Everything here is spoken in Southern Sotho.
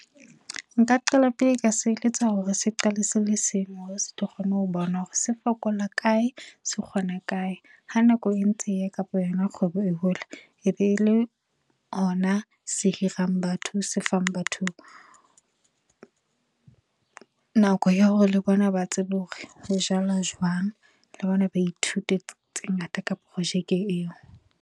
Nka qala pele ka se eletsa hore se qale se le seng hore se tlo kgone ho bona hore se fokola kae, se kgona kae. Ha nako e ntse e kapa yona kgwebo e hola e be le hona a se hirang batho se fang batho nako ya hore le bona ba tsebe hore ho jalwa jwang le bona ba ithute tse ngata ka projeke eo.